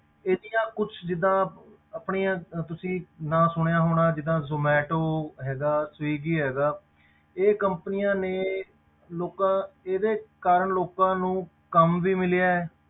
ਇਹਦੀਆਂ ਕੁਛ ਜਿੱਦਾਂ ਆਪਣੀਆਂ ਅਹ ਤੁਸੀਂ ਨਾਂ ਸੁਣਿਆ ਹੋਣਾ ਜਿੱਦਾਂ zomato ਹੈਗਾ swiggy ਹੈਗਾ ਇਹ companies ਨੇ ਲੋਕਾਂ ਇਹਦੇ ਕਾਰਨ ਲੋਕਾਂ ਨੂੰ ਕੰਮ ਵੀ ਮਿਲਿਆ ਹੈ,